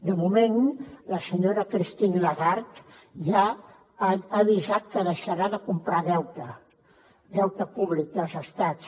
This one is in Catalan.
de moment la senyora christine lagarde ja ha avisat que deixarà de comprar deute públic dels estats